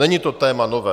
Není to téma nové.